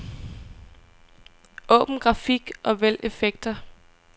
Åbn grafik og vælg effekter.